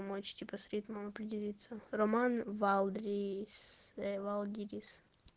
мочь с ритмом определиться роман валдриис а валдерис